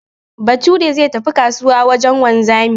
Bature zai tafi kasuwa wajen wanzami